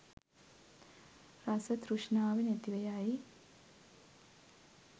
රස තෘෂ්ණාව නැතිව යයි.